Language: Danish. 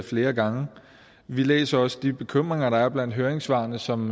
flere gange vi læser også de bekymringer der er blandt høringssvarene som